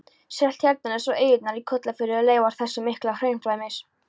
Seltjarnarnes og eyjarnar í Kollafirði eru leifar þessa mikla hraunflæmis.